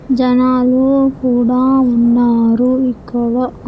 జనాలు కూడా ఉన్నారు ఇక్కడ.